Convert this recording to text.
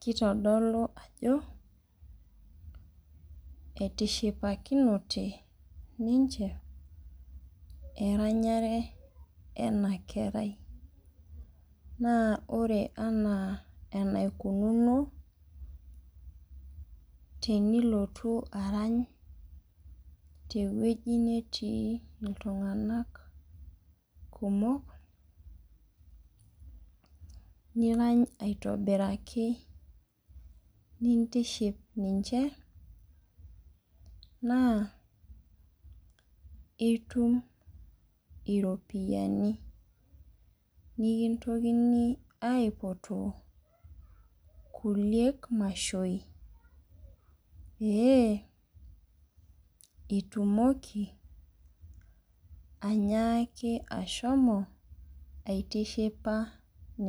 keitodolu ajo etishipakinote ninche eranyare ena kerai naa ore anaa enaikununo tenilotu aranya tewueji netii itung'anak kumok kumok niranya aitobiraki nintiship nishe naa itum iropiyiani nikintokini aipotoobkuliek mashoi pee itumoki anyaaki shomo aitishipa ninche